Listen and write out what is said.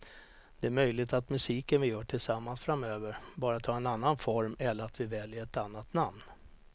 Det är möjligt att musiken vi gör tillsammans framöver bara tar en annan form eller att vi väljer ett annat namn.